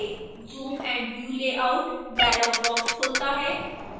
zoom & view layout dialog box खुलता है